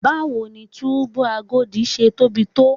Báwo ni túbú Agodi ṣe tóbi tó?